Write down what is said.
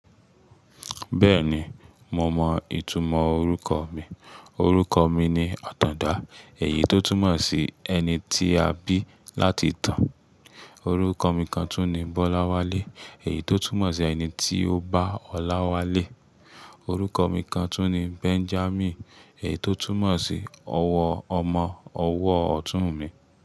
Bẹ́ẹ̀ni, mo mọ ìtumọ̀ orúkọ mi. Orúkọ mi ni Àtàndá, èyí tó túmọ̀ sí “ẹni tí a bí láti tàn”. Orúkọ mi kan tún ni Bọ́láwálé, èyí tó túmọ̀ sí “ẹni tí ó bá ọlá wálé”. Orúkọ mi kan tún ni Benjamin, èyí tó túmọ̀ sí “ọwọ́ ọmọ”, “ọwọ́ ọ̀tún mi”.